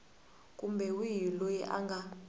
kumbe wihi loyi a nga